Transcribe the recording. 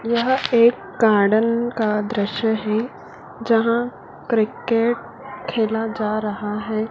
यह एक गार्डन का दृश्य है जहां क्रिकेट खेला जा रहा है।